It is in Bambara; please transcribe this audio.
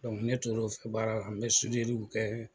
ne tor'o fɛ baara la n bɛ kɛ.